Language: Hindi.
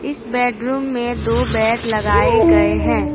इस बेडरूम में दो बेड लगाए गए हैं।